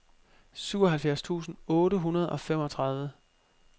syvoghalvfjerds tusind otte hundrede og femogtredive